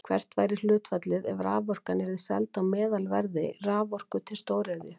Hvert væri hlutfallið ef raforkan yrði seld á meðalverði raforku til stóriðju?